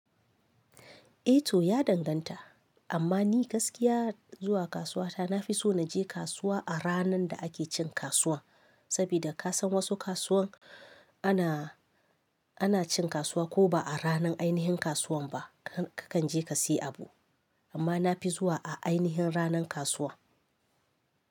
Eh to ya danganta, amma ni gaskiya zuwa kasuwa ta na fi so na je kasuwa a ranar da ake cin kasuwa. Sabida ka san wasu kasuwan ana, ana cin kasuwa ko ba a ranar ainihin kasuwan ba kakan je ka sai abu. Amma nafi zuwa a ainahin ranar kasuwa.